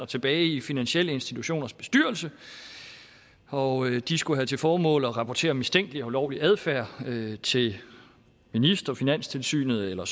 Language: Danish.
tilbage i finansielle institutioners bestyrelser og de skulle have til formål at rapportere om mistænkelig og ulovlig adfærd til ministeren finanstilsynet eller